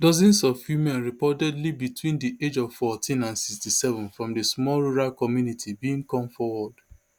dozens of women reportedly between di age of fourteen and sixty-seven from di small rural community bin come forward